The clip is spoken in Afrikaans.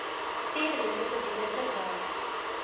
stedelike gebiede verwys